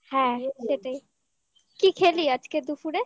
হ্যাঁ সেটাই কি খেলি আজকে দুপুরে?